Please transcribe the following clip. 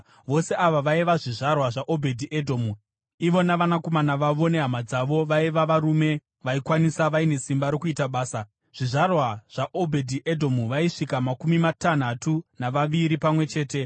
Vose ava vaiva zvizvarwa zvaObhedhi-Edhomu. Ivo navanakomana vavo nehama dzavo vaiva varume vaikwanisa vaine simba rokuita basa, zvizvarwa zvaObhedhi-Edhomu, vaisvika makumi matanhatu navaviri pamwe chete.